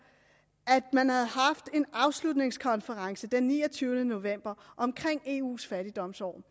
man havde haft en afslutningskonference nemlig den niogtyvende november om eus fattigdomsår